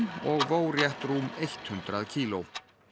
og vó rétt rúm hundrað kíló